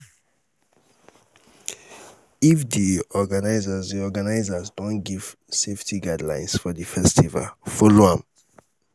if di organisers di organisers don give safety guidlines for di festival follow am